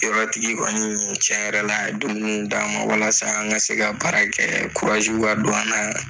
Sɔrɔtigi kɔɔni tiɲɛ yɛrɛ la a ye domini d' a man walasa an ka se ka baara kɛ ka don an na